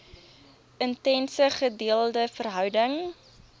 intense gedeelde verhouding